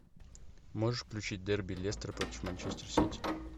можешь включить дерби лестер против манчестер сити